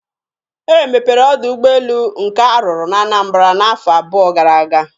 E mepere ọdọ ụgbọelu nke a rụrụ na Anambara n'afọ abụọ gara aga.